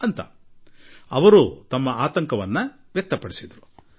ಈ ರೀತಿ ಅವರು ತಮ್ಮ ಆತಂಕ ವ್ಯಕ್ತಪಡಿಸಿದರು